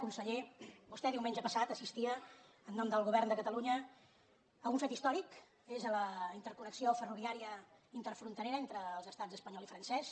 conseller vostè diumenge passat assistia en nom del govern de catalunya a un fet històric a la interconnexió ferroviària interfronterera entre els estats espanyol i francès